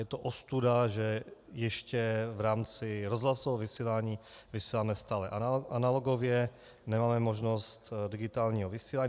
Je to ostuda, že ještě v rámci rozhlasového vysílání vysíláme stále analogově, nemáme možnost digitálního vysílání.